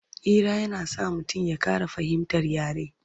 Hira na sa mutum ya Ƙara fahimtar yare